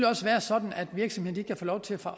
også være sådan at virksomhederne kan få lov til at få